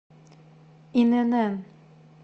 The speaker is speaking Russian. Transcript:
инн